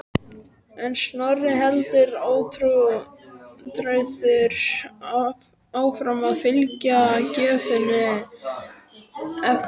En Snorri heldur ótrauður áfram að fylgja gjöfinni eftir.